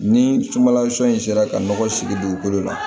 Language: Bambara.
Ni sunbalasun in sera ka nɔgɔ sigi dugukolo la